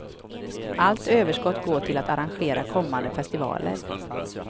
Allt överskott går till att arrangera kommande festivaler.